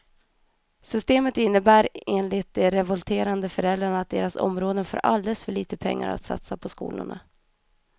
Systemet innebär enligt de revolterande föräldrarna att deras områden får alldeles för lite pengar att satsa på skolorna.